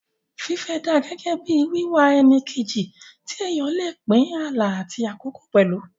Fífẹ́ dà gẹ́gẹ́ bí wíwá ẹni kejì tí èèyàn lè pín àlá àti àkókò pẹ̀lú